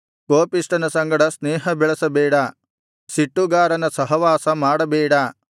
ಕೋಪಿಷ್ಠನ ಸಂಗಡ ಸ್ನೇಹ ಬೆಳಸಬೇಡ ಸಿಟ್ಟುಗಾರನ ಸಹವಾಸ ಮಾಡಬೇಡ